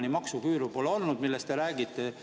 Siiamaani pole olnud maksuküüru, millest te räägite.